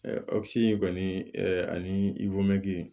sigi in kɔni ani i wɛ